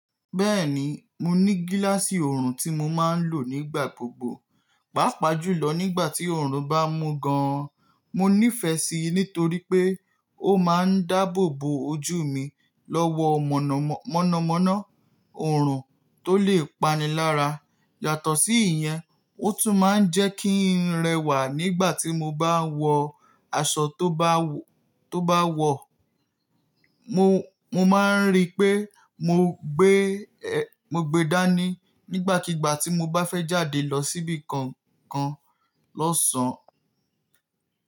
Bẹ́ẹ̀ni, mo ní gíláàsì ọ̀rùn tí mo máa ń lò nígbà gbogbo, pàápàá jùlọ nígbà tí ọ̀rùn bá mú gan-an. Mo nífẹ̀ẹ́ síi nítorí pé ó máa ń dáàbò bo ojú mi lọ́wọ́ mọ̀nàmọ́ná ọ̀rùn tó lè pani lára. Yàtọ̀ sí ìyẹn, ó tún máa ń jẹ́ kí n rẹwà nígbà tí mo bá ń wọ aṣọ tó bá wọ̀. Mo, mo máa ń rí i pé mo gbe, mo gbe dání nígbàkigbà tí mo bá fẹ́ jáde lọ síbi kankan lọ́sàn-án.